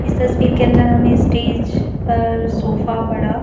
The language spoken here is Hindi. इस तस्वीर के अंदर हमें स्टेज पर सोफा बड़ा--